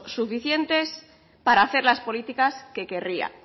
suficientes para hacer las políticas que querría